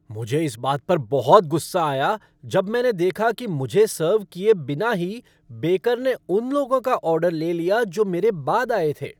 मुझे इस बात पर बहुत गुस्सा आया जब मैंने देखा कि मुझे सर्व किए बिना ही बेकर ने उन लोगों का ऑर्डर ले लिया जो मेरे बाद आए थे।